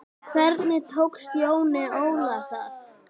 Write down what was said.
Hvernig tókst Jóni Óla það?